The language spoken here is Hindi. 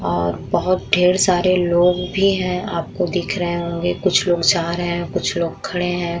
और बहोत ढेर सारे लोग भी हैं। आपको दिख रहे होंगे। कुछ लोग जा रहे हैं। कुछ लोग खड़े हैं।